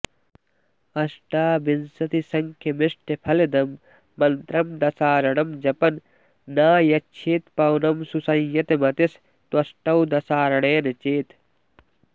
अष्टाविंशतिसङ्ख्यमिष्टफलदं मन्त्रं दशार्णं जपन् नायच्छेत् पवनं सुसंयतमतिस्त्वष्टौ दशार्णेन चेत्